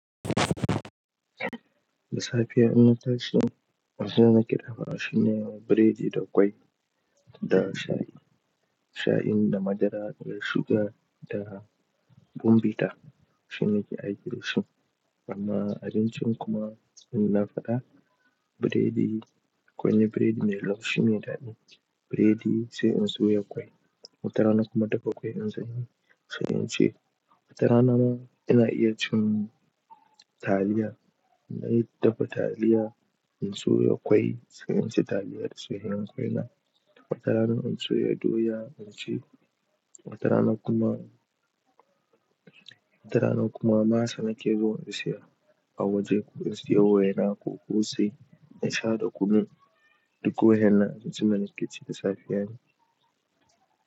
Da safiya inna tashi, abin da nake dafa shi ne biredi da kwai da shayi. Shayin da madara da suga da bombita shine nake aiki dashi. Amma abincin kuma ina faɗa biredi, kwai ne biredi mai laushi me daɗi. Biredi sai in soya kwai, watarana kuma dafa kwai in zanyi. Sai in ce watarana ina iya cin taliya. Inayi dafa taliya, in soya kwai, sai in ci taliya da soyayan kwai na. Watarana in soya doya, in ci. Watarana kuma, watarana kuma masa nake zo in saya a waje ko in sayi waina ko kosai in sha da kunu, duk wa'in nan abincin da nake ci da safiya ne.